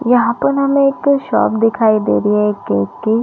यहाँ पर हमें एक शॉप दिखाई दे रही है एक केक की--